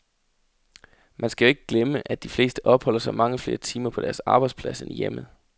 Man skal jo ikke glemme, at de fleste opholder sig mange flere timer på deres arbejdsplads end i hjemmet.